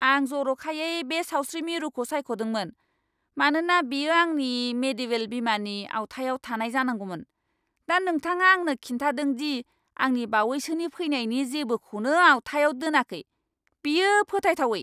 आं जरखायै बे सावस्रि मिरुखौ सायख'दोंमोन, मानोना बेयो आंनि मेडिवेल बीमानि आवथायाव थानाय जानांगौमोन। दा नोंथाङा आंनो खिन्थादों दि आंनि बावैसोनि फैनायनि जेबोखौनो आवथायाव दोनाखै? बेयो फोथायथावै!